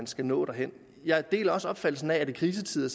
skal nå derhen jeg deler også opfattelsen af at i krisetider